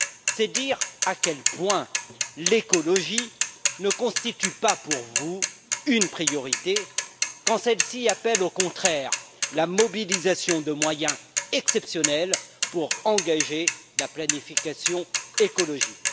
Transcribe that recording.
C'est dire à quel point l'écologie ne constitue pas pour vous une priorité, quand celle ci appelle au contraire la mobilisation de moyens exceptionnels pour engager la planification écologique.